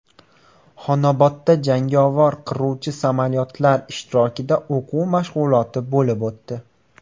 Xonobodda jangovar qiruvchi samolyotlar ishtirokida o‘quv mashg‘uloti bo‘lib o‘tdi .